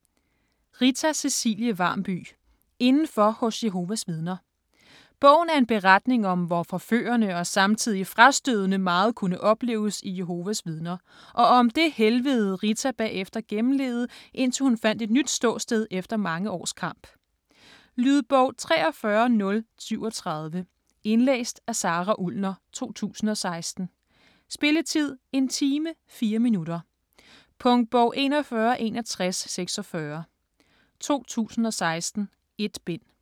Varmby, Rita Cecilie: Indenfor hos Jehovas vidner Bogen er en beretning om, hvor forførende og samtidig frastødende meget kunne opleves i Jehovas vidner, og om det helvede, Rita bagefter gennemlevede, indtil hun fandt et nyt ståsted efter mange års kamp. Lydbog 43037 Indlæst af Sara Ullner, 2016. Spilletid: 1 time, 4 minutter. Punktbog 416146 2016. 1 bind.